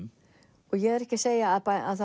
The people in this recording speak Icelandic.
og ég er ekki að segja að